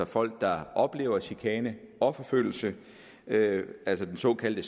folk der oplever chikane og forfølgelse altså den såkaldte